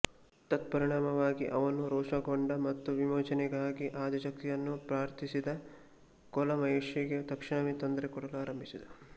ತತ್ಪರಿಣಾಮವಾಗಿ ಅವನು ರೋಷಗೊಂಡ ಮತ್ತು ವಿಮೋಚನೆಗಾಗಿ ಆದಿಶಕ್ತಿಯನ್ನು ಪ್ರಾರ್ಥಿಸಿದ ಕೋಲ ಮಹರ್ಷಿಗೆ ತಕ್ಷಣವೇ ತೊಂದರೆ ಕೊಡಲು ಆರಂಭಿಸಿದ